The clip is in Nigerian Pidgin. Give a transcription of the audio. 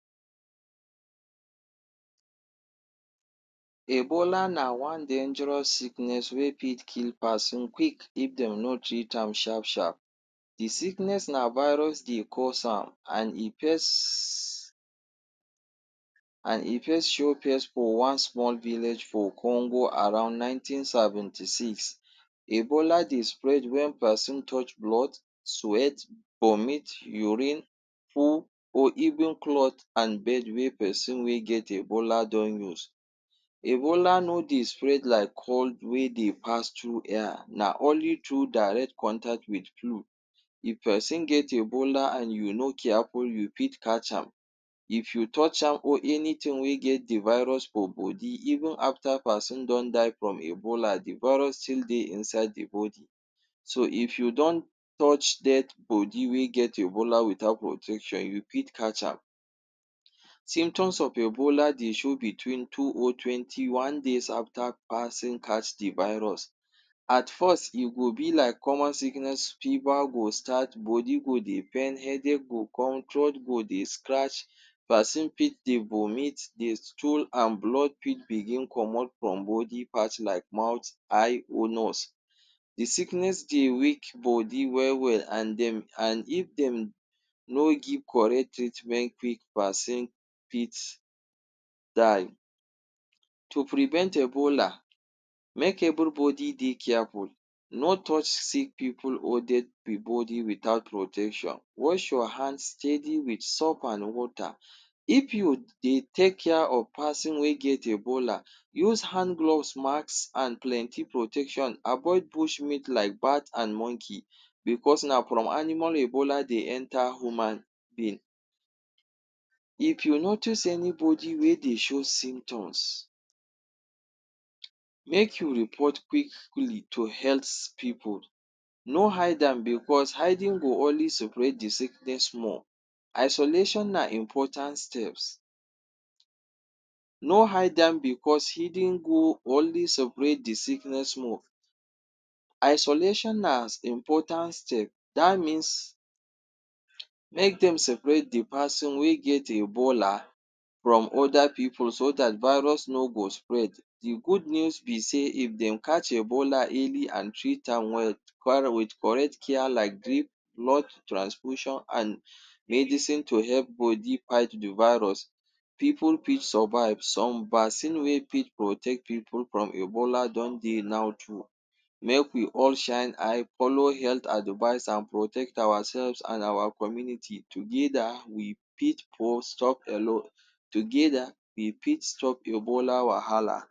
Ebola na one dangerous sickness wey fit kill person quick if dey no treat am sharp-sharp. The sickness na virus dey cause am and e firsttt, and e first show face for one small village for Congo around nineteen seventy six. Ebola dey spread when person touch blood, sweat, vomit, urine, poo or even cloth and bed wey person wey get ebola don use. Ebola no dey spread like cold wey dey pass through air, na only through direct contact with flu, if person get ebola and you no careful, you fit catch am if you touch am or anything wey get the virus for body even afta person don die from ebola the virus still dey inside the body. So if you don touch dead body wey get ebola without protection you fit catch am. Symptoms of ebola dey show between two or twenty one days after pason catch the virus. At first e go be like common sickness, fever go start, body go dey pain, headache go come throat go dey scratch. Person pit dey vomit dey stool and blood pit begin comot for body part like mouth, eye or nose. The sickness dey weak body well-well and dem an if dem no give correct treatment quick person fit die. To prevent ebola, make every body dey careful, no touch sick pipul or dead body without protection. Wash your hand steady with soap and water. if you dey take care of person wey get ebola, use hand gloves, mask and plenty protection. Avoid bush meat like bat and monkey because na from animal ebola dey enter human being. If you notice any body wey dey show symptoms ,make you report quickly to healths pipul, no hide am because hiding go only spread the sickness more. Isolation na important steps no hide am because hidden go only the sickness more. Isolation na important steps that means, make dem separate the person wey get ebola from other pipul so that virus no go spread. The good news be sey if dem catch ebola early and treat am well with correct care like drib, blood transfusion, and medicine to help body fight the virus, pipul fit survive. Some vaccine wey fit protect pipul from ebola don dey now too. Make we all shine eye follow health advise and protect our self and community, together we fit sto together, we fit stop ebola wahala.